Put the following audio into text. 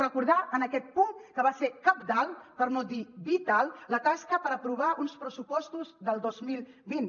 recordar en aquest punt que va ser cabdal per no dir vital la tasca per aprovar uns pressupostos del dos mil vint